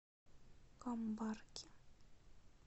камбарки